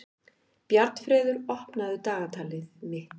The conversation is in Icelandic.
Bjarnfreður, opnaðu dagatalið mitt.